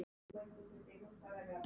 Og hlær.